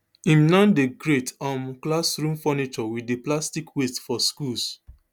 im now dey create um classroom furniture wit di plastic waste for schools